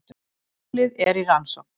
Málið er í rannsókn